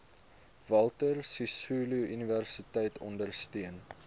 walter sisuluuniversiteit ondersteun